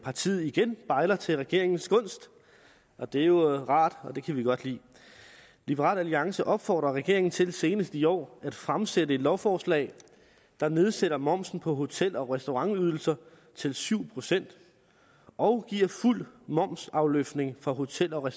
partiet igen bejler til regeringens gunst og det er jo rart og det kan vi godt lide liberal alliance opfordrer regeringen til senest i år at fremsætte et lovforslag der nedsætter momsen på hotel og restaurantydelser til syv procent og giver fuld momsafløftning for hotel og